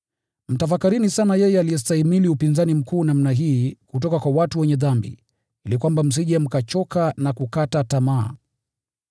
Mtafakarini sana yeye aliyestahimili upinzani mkuu namna hii kutoka kwa watu wenye dhambi, ili kwamba msije mkachoka na kukata tamaa.